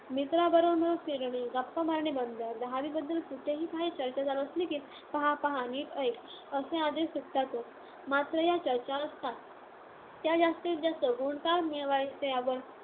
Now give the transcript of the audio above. मित्रांबरोबर फिरणे, गप्पा मारणे बंद. दहावीबद्दल कुठेही काही चर्चा चालू असली की, पाहा, पाहा, नीट ऐक असे आदश सुटतातच. मात्र या चर्चा असतात, त्या जास्तीत जास्त गुण का मिळवायचे यावर.